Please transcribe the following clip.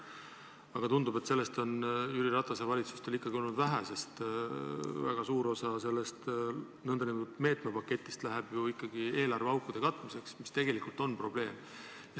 Aga tundub, et sellest on Jüri Ratase valitsustele olnud vähe, sest väga suur osa sellest nn meetmepaketist läheb ju ikkagi eelarveaukude katmiseks, mis tegelikult on probleem.